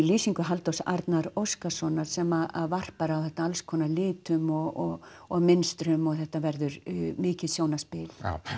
lýsingu Halldórs Óskarssonar sem varpar á þetta alls konar litum og og mynstrum og þetta verður mikið sjónarspil